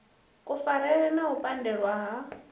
kufarele na u pandelwa ha